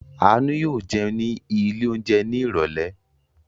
Àánú yóò jẹun ní ilé-oúnjẹ ní ìrọ́lẹ́!